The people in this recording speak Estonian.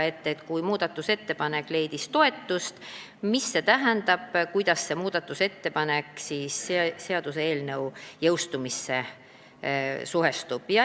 Küsisime, et kui muudatusettepanek leidis toetust, siis mida see tähendab ja kuidas see muudatusettepanek seaduseelnõu jõustumisega suhestub.